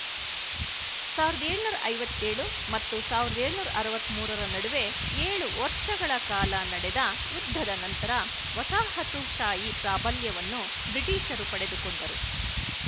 ಸಾವಿರದ ಏಳುನೂರ ಐವತ್ತ್ ಏಳು ಮತ್ತು ಸಾವಿರದ ಏಳುನೂರ ಅರವತ್ತ್ ಮೂರರ ನಡುವೆ ಏಳು ವರ್ಶಗಳ ಕಾಲ ನಡೆದ ಯುದ್ಧದ ನಂತರ ವಸಾಹತುಶಾಹಿ ಪ್ರಾಬಲ್ಯವನ್ನು ಬ್ರಿಟಿಶರು ಪಡೆದುಕೊಂಡರು